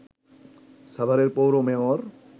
সাভারের পৌর মেয়র